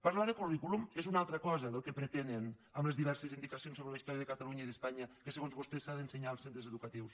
parlar de currículum és una altra cosa del que pretenen amb les diverses indicacions sobre la història de catalunya i d’espanya que segons vostès s’ha d’ensenyar als centres educatius